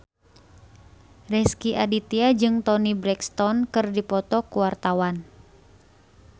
Rezky Aditya jeung Toni Brexton keur dipoto ku wartawan